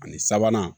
Ani sabanan